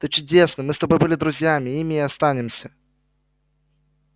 ты чудесный мы с тобой были друзьями ими и останемся